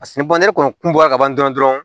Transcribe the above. ne kɔni kun bɔra ka ban dɔrɔn dɔrɔn